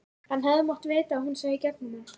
Hann hefði mátt vita að hún sæi í gegnum hann.